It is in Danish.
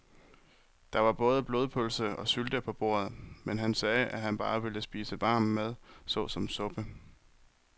Der var både blodpølse og sylte på bordet, men han sagde, at han bare ville spise varm mad såsom suppe.